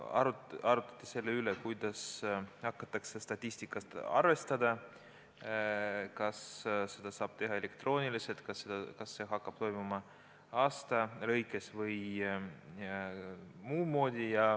Arutleti selle üle, kuidas hakatakse statistikat arvestama – kas seda saab teha elektrooniliselt ning kas see hakkab toimuma aasta lõikes või muudmoodi.